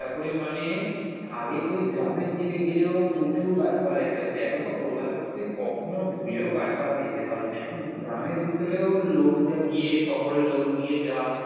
সকলে মানে আগে তুই গ্রামের দিকে গেলেও প্রচুর গাছপালা দেখতে পারতিস এখন তো কলকাতাতে তুই কখনও ভুলেও গাছপালা দেখতে পারবিনা এখন গ্রামের ভিতরেও লোক যা গিয়ে শহরের লোক গিয়ে যা।